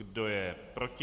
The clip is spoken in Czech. Kdo je proti?